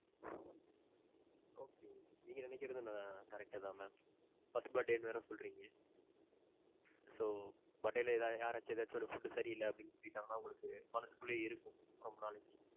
okay okay. நீங்க நினைக்கிறதும் ~ correct தான் mam. First birthday ன்னு வேற சொல்றீங்க. so, birthday ல ஏதாது யாராச்சு ஏதாச்சும் ஒரு food சரி இல்ல அப்பிடின்னு சொல்லிட்டாங்கனா உங்களுக்கு மனசுக்குள்ளேயே இருக்கும். ரொம்ப நாளைக்கி.